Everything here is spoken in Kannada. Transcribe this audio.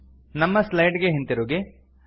ನಮ್ಮ ಸ್ಲೈಡ್ ಗೆ ಹಿಂತಿರುಗಿ